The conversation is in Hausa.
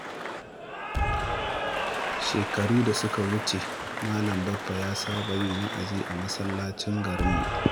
Shekaru da suka wuce, Malam Baffa ya saba yin wa’azi a masallacin garinmu.